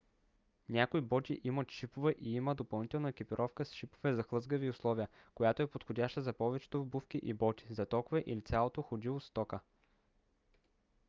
някои боти имат шипове и има допълнителна екипировка с шипове за хлъзгави условия която е подходяща за повечето обувки и боти за токове или цялото ходило с тока